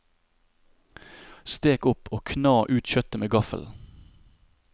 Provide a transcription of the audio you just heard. Stek opp og kna ut kjøttet med gaffel.